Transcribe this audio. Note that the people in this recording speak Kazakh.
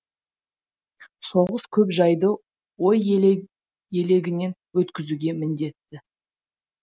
соғыс көп жайды ой елегінен өткізуге міндетті